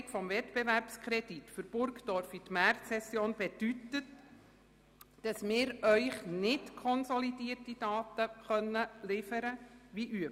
Die Vorverlegung des Wettbewerbskredits für Burgdorf auf die Märzsession bedeutet, dass wir Ihnen nicht – wie sonst üblich – konsolidierte Daten werden liefern können.